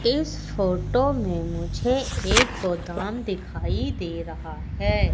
इस फोटो में मुझे एक गोदाम दिखाई दे रहा है।